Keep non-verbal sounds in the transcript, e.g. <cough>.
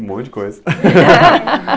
Um monte de coisa. <laughs>